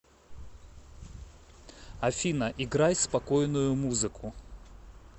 афина играй спокойную музыку